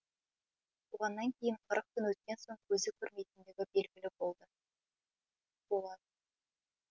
туғаннан кейін қырық күн өткен соң көзі көрмейтіндігі белгілі болды болады